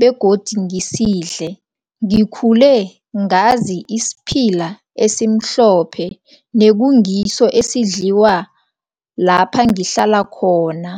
begodi ngisidle. Ngikhule ngazi isiphila esimhlophe nekungiso esidliwa lapha ngihlala khona.